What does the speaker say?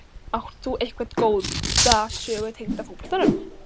Átt þú einhverja góða sögu tengda fótboltanum?